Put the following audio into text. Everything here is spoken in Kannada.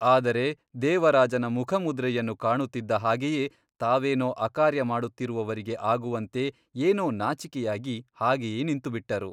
ಆದರೆ ದೇವರಾಜನ ಮುಖಮುದ್ರೆಯನ್ನು ಕಾಣುತ್ತಿದ್ದ ಹಾಗೆಯೇ ತಾವೇನೋ ಅಕಾರ್ಯ ಮಾಡುತ್ತಿರುವವರಿಗೆ ಆಗುವಂತೆ ಏನೋ ನಾಚಿಕೆಯಾಗಿ ಹಾಗೆಯೇ ನಿಂತುಬಿಟ್ಟರು.